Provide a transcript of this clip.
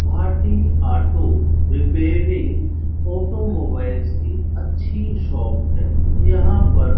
Bhati auto repairing automobiles की अच्छी shop है यहां पर--